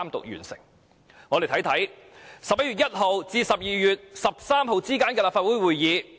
讓我們看看11月1日至12月13日之間的立法會會議。